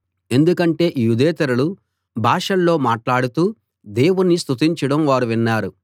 ఎందుకంటే యూదేతరులు భాషల్లో మాట్లాడుతూ దేవుణ్ణి స్తుతించడం వారు విన్నారు